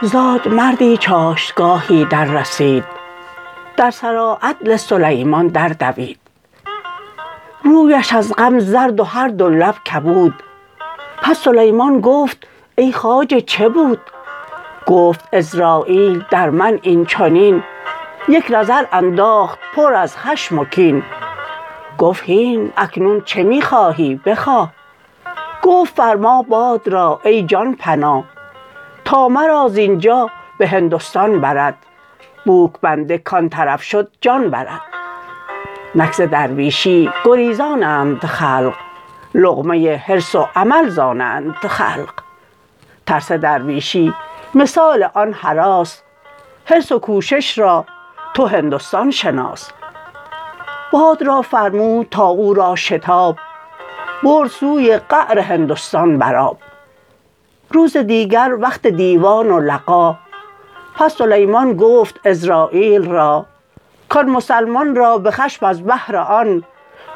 زادمردی چاشتگاهی دررسید در سراعدل سلیمان در دوید رویش از غم زرد و هر دو لب کبود پس سلیمان گفت ای خواجه چه بود گفت عزراییل در من این چنین یک نظر انداخت پر از خشم و کین گفت هین اکنون چه می خواهی بخواه گفت فرما باد را ای جان پناه تا مرا زینجا به هندستان برد بوک بنده کان طرف شد جان برد نک ز درویشی گریزانند خلق لقمه حرص و امل ز آنند خلق ترس درویشی مثال آن هراس حرص و کوشش را تو هندستان شناس باد را فرمود تا او را شتاب برد سوی قعر هندستان بر آب روز دیگر وقت دیوان و لقا پس سلیمان گفت عزراییل را کان مسلمان را به خشم از بهر آن